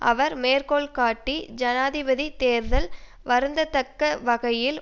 அவர் மேற்கோள் காட்டி ஜனாதிபதி தேர்தல் வருந்தத்தக்க வகையில்